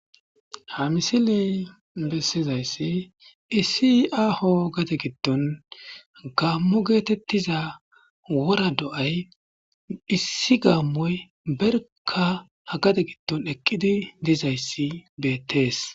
ha misiley bessizayssi issi aaho gade gidton gaammo geetettiza wora do7ay issi gaammoy berka hagate gidton eqqidi dizayssi beettees